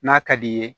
N'a ka d'i ye